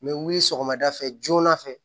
N bɛ wuli sɔgɔmada fɛ joona fɛ